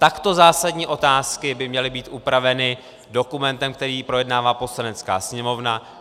Takto zásadní otázky by měly být upraveny dokumentem, který projednává Poslanecká sněmovna.